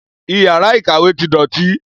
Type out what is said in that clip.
Iyàrá ìkàwé ti dòtí